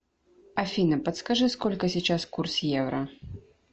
афина подскажи сколько сейчас курс евро